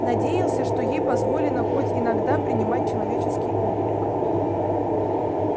надеялся что ей позволено хоть иногда принимать человеческий облик